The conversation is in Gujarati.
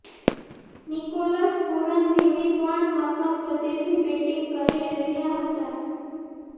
નિકોલસ પૂરન ધીમી પણ મક્કમ ગતિથી બૅટિંગ કરી રહ્યા હતા